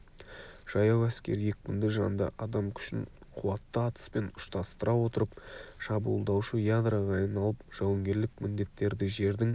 жаяу әскер екпінді жанды адам күшін қуатты атыспен ұштастыра отырып шабуылдаушы ядроға айналып жауынгерлік міндеттерді жердің